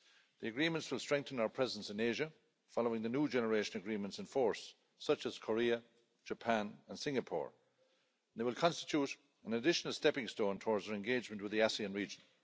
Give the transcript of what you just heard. The agreements will strengthen our presence in Asia, following the new generation agreements' in force, such as those with Korea, Japan and Singapore. They will constitute an additional stepping stone towards our engagement with the ASEAN region.